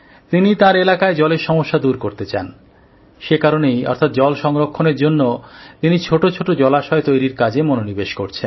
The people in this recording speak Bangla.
তিনি তাঁর এলাকায় জলের সমস্যা দূর করতে চান সে কারণেই অর্থাৎ জল সংরক্ষণের জন্য তিনি ছোট ছোট জলাশয় তৈরীর কাজে মনোনিবেশ করছেন